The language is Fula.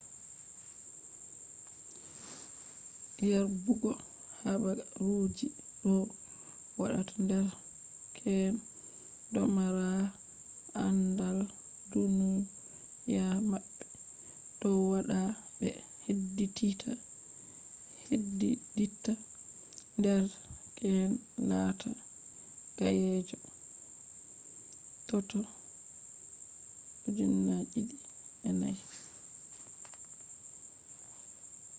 yerbugo haabaruji doo waata derkeen domaaraa andal duuniya mabbe. dow waada be heddiddita derkeen laataa gayyeejo.toto 2004